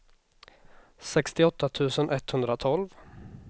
sjuttioåtta tusen etthundratolv